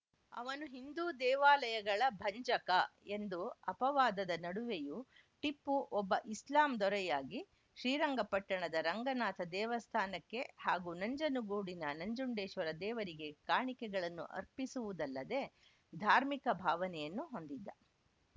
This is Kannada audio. ಅವನು ಹಿಂದೂ ದೇವಾಲಯಗಳ ಭಂಜಕ ಎಂದು ಅಪವಾದದ ನಡುವೆಯು ಟಿಪ್ಪು ಒಬ್ಬ ಇಸ್ಲಾಂ ದೊರೆಯಾಗಿ ಶ್ರೀರಂಗಪಟ್ಟಣದ ರಂಗನಾಥ ದೇವಸ್ಥಾನಕ್ಕೆ ಹಾಗೂ ನಂಜನಗೂಡಿನ ನಂಜುಡೇಶ್ವರ ದೇವರಿಗೆ ಕಾಣಿಕೆಗಳನ್ನು ಅರ್ಪಿಸುವುದಲ್ಲದೆ ಧಾರ್ಮಿಕ ಭಾವನೆಯನ್ನು ಹೊಂದಿದ್ದ